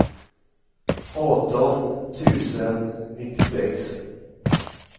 arton tusen nittiosex